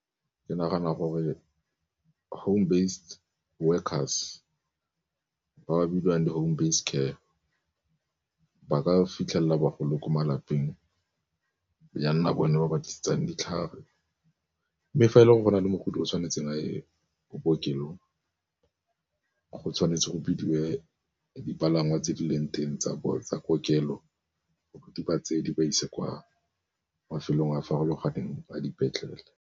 Ke nagana gore home based workers ba ba bidiwang di home base care ba ka fitlhelela bagolo ko malapeng, ya nna bone ba ba tlisetsang ditlhare. Mme fa e le gore go na le mogodi o tshwanetseng ko bookelong go tshwanetse go bidiwe dipalangwa tse di leng teng tsa kokelo, di ba tsee di ba ise kwa mafelong a farologaneng a dipetlele.